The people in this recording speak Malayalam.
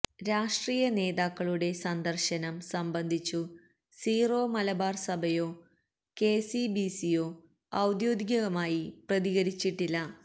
രാഷ്ട്രീയ നേതാക്കളുടെ സന്ദർശനം സംബന്ധിച്ചു സിറോ മലബാർ സഭയോ കെസിബിസിയോ ഔദ്യോഗികമായി പ്രതികരിച്ചിട്ടില്ല